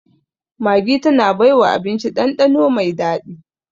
Maggi tana baiwa abinci ɗanɗano mai daɗi